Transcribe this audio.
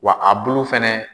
Wa a bulu fana